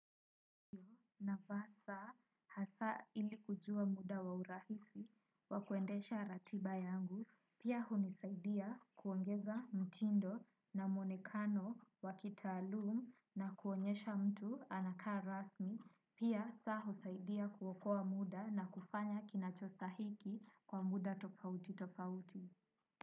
Navaa saa hasa ili kujua muda waurahisi wakuendesha ratiba yangu. Pia hunisaidia kuongeza mtindo na muonekano wakitalum na kuonyesha mtu anakaa rasmi. Pia saa husaidia kuokoa muda na kufanya kinachostahiki kwa muda tofauti tofauti.